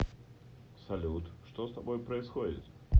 салют что с тобой происходит